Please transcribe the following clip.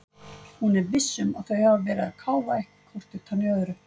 Hún er VISS um að þau hafa verið að káfa eitthvað hvort utan í öðru.